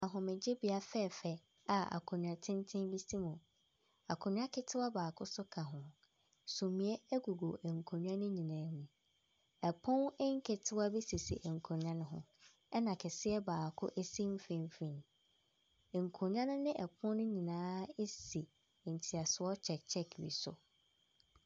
Ahomegyebea fɛɛfɛɛ a akonnwa tenten bi si mu. Akonnwa ketewa baako nso ka ho. Sumiiɛ gugu nkonnwa no nyinaa mu. Pono nketewa bi sisi nkonnwa no ho, ɛnna kɛseɛ baako si mfimfin. Nkonnwa no ne pono no nyinaa si ntiasoɔ check check bi so.